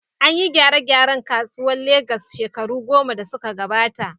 An yi gyare-gyare a kasuwar Legas shekaru goma da suka gabata.